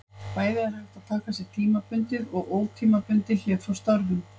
Bæði er hægt að taka sér tímabundið og ótímabundið hlé frá störfum.